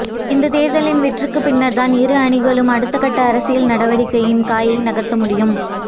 இந்த தேர்தலின் வெற்றிக்கு பின்னர்தான் இரு அணிகளும் அடுத்தகட்ட அரசியல் நடவடிக்கையின் காயை நகர்த்த முடியும்